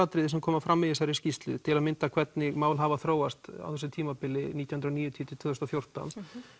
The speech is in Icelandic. sem kom fram í þessari skýrslu til að mynda hvernig mál hafa þróast á þessu tímabili nítján hundruð og níutíu tvö þúsund og fjórtán